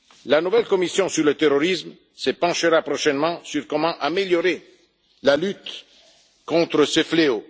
La nouvelle commission sur le terrorisme se penchera prochainement sur la façon d'améliorer la lutte contre ce fléau.